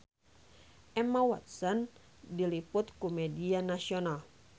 Emma Watson diliput ku media nasional